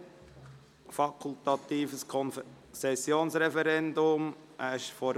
Es handelt sich um eine Konzession, welche dem fakultativen Konzessionsreferendum unterliegt.